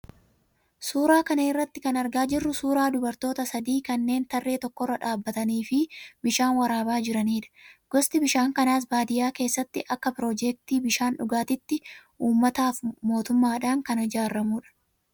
Suuraa kana irraa kan argaa jirru suuraa dubartoota sadii kanneen tarree tokkorra dhaabbatanii fi bishaan waraabaa jiranidha. Gosti bishaan kanaas baadiyyaa keessatti akka piroojeektii bishaan dhugaatiitti uummataaf mootummaadhaan kan ijaaramudha.